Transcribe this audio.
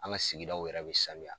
An ka sigidaw yɛrɛ be sanuya.